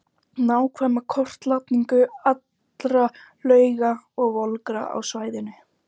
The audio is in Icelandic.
Nákvæma kortlagningu allra lauga og volgra á svæðinu.